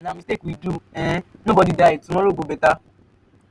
na mistake we do um nobody die. tomorrow go beta.